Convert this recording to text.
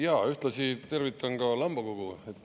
Jaa, ühtlasi tervitan ka Lambakogu.